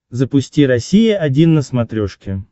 запусти россия один на смотрешке